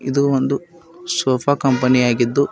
ಇದು ಒಂದು ಸೋಪಾ ಕಂಪನಿ ಆಗಿದ್ದು--